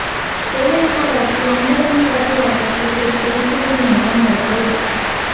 ஜெயலலிதா வழக்கில் அன்பழகன் தரப்பு வாதத்தை கேட்க உச்ச நீதிமன்றம் மறுப்பு